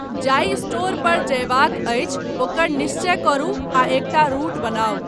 जाहि स्टोर पर जयबाक अछि ओकर निश्चय करू आ एकटा रूट बनाउ।